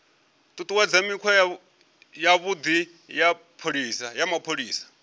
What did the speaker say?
ṱuṱuwedza mikhwa yavhuḓi ya mapholisa